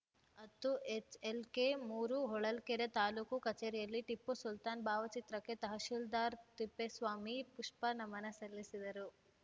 ಹತ್ತು H L K ಮೂರು ಹೊಳಲ್ಕೆರೆ ತಾಲೂಕು ಕಚೇರಿಯಲ್ಲಿ ಟಿಪ್ಪು ಸುಲ್ತಾನ್‌ ಭಾವಚಿತ್ರಕ್ಕೆ ತಹಸೀಲ್ದಾರ್‌ ತಿಪ್ಪೇಸ್ವಾಮಿ ಪುಷ್ಪ ನಮನ ಸಲ್ಲಿಸಿದರು